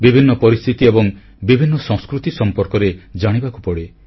ବିଭିନ୍ନ ପରିସ୍ଥିତି ଏବଂ ବିଭିନ୍ନ ସଂସ୍କୃତି ସମ୍ପର୍କରେ ଜାଣିବାକୁ ପଡ଼େ